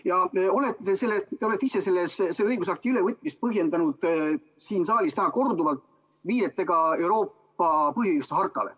Ja te olete ise selle õigusakti ülevõtmist põhjendanud siin saalis täna korduvalt viidetega Euroopa põhiõiguste hartale.